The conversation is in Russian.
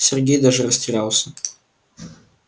сергей даже растерялся